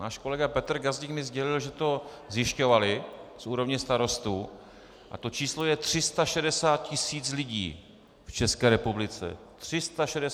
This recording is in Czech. Náš kolega Petr Gazdík mi sdělil, že to zjišťovali z úrovně starostů a to číslo je 360 tisíc lidí v České republice.